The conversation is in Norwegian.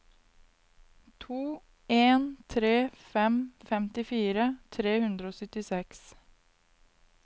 to en tre fem femtifire tre hundre og syttiseks